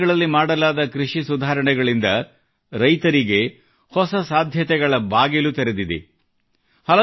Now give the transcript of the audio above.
ಇತ್ತೀಚಿನ ದಿನಗಳಲ್ಲಿ ಮಾಡಲಾದ ಕೃಷಿ ಸುಧಾರಣೆಗಳಲ್ಲಿ ರೈತರಿಗೆ ಹೊಸ ಸಾಧ್ಯತೆಗಳ ಬಾಗಿಲು ತೆರೆದಿರಿಸಿದೆ